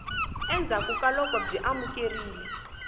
endzhaku ka loko byi amukerile